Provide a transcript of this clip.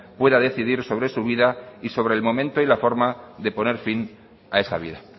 pueda decidir sobre su vida y sobre el momento y la forma de poner fin a esa vida